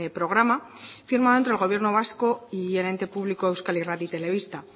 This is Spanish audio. programa firmado entre el gobierno vasco y el ente público euskal irrati telebista